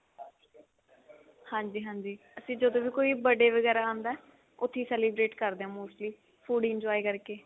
ਹਾਂਜੀ ਹਾਂਜੀ ਅਸੀਂ ਜਦੋਂ ਵੀ ਕੋਈ birthday ਵਗੇਰਾ ਆਉਂਦਾ ਉੱਥੀ celebrate ਕਰਦੇ ਹਾਂ mostly